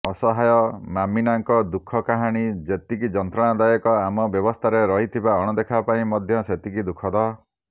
ଅସହାୟ ମାମିନାଙ୍କ ଦୁଃଖ କାହାଣୀ ଯେତିକି ଯନ୍ତ୍ରଣାଦାୟକ ଆମ ବ୍ୟବସ୍ଥାରେ ରହିଥିବା ଅଣଦେଖା ପାଇଁ ମଧ୍ୟ ସେତିକି ଦୁଃଖଦ